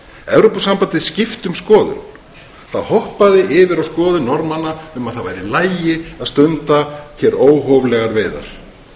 evrópusambandið skipti um skoðun það hoppaði yfir á skoðun norðmanna um að það væri í lagi að stunda hér óhóflegar veiðar